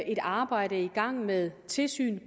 et arbejde i gang med tilsyn